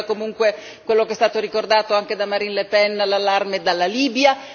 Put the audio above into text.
poi però arriva comunque come è stato ricordato anche da Marine Le Pen l'allarme dalla Libia.